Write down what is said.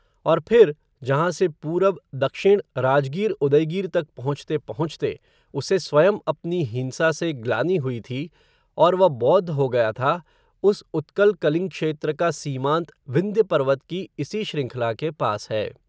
और फिर, जहां से पूरब दक्षिण, राजगीर उदयगीर तक पहुँचते पहुँचते, उसे स्वयं अपनी हिंसा से ग्लानि हुई थी, और वह बौद्ध हो गया था, उस उत्कल कलिंग क्षेत्र का सीमांत विंध्य पर्वत की, इसी श्रृंखला के पास है